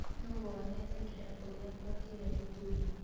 Nũũ wonete kĩratũ gĩakwa kĩrĩa gĩtune?